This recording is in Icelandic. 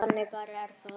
Þannig bara er það.